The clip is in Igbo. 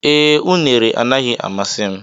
Ee, unere anaghị amasị m.